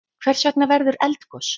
Hvers vegna verður eldgos?